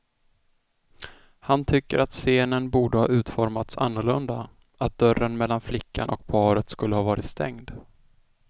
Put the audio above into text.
Han tycker att scenen borde ha utformats annorlunda, att dörren mellan flickan och paret skulle ha varit stängd.